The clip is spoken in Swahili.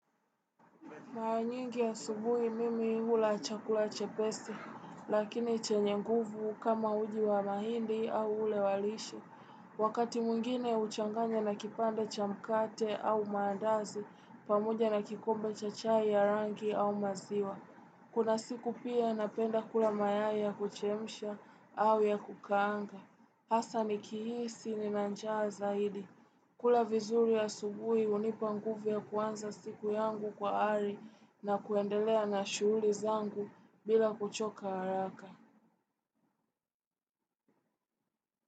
Maranyingi ya subuhi mimi hula chakula chepesi, lakini chenye nguvu kama uji wa mahindi au ule walishi. Wakati mwingine uchanganya na kipande chamkate au maandazi, pamoja na kikombe chachai ya rangi au maziwa. Kuna siku pia napenda kula mayai ya kuchemisha au ya kukaanga. Hasa nikihisi nina njaa zaidi. Kula vizuri asubuhi unipanguvu ya kuanza siku yangu kwa ari na kuendelea na shuri zangu bila kuchoka haraka.